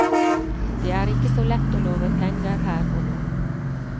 Det er ikke så lett å love penger her og nå.